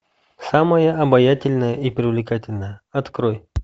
самая обаятельная и привлекательная открой